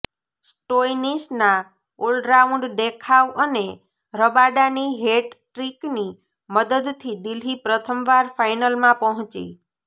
સ્ટોઇનિસના ઓલરાઉન્ડ દેખાવ અને રબાડાની હેટટ્રિકની મદદથી દિલ્હી પ્રથમવાર ફાઇનલમાં પહોંચી